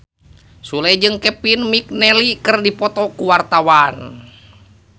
Sule jeung Kevin McNally keur dipoto ku wartawan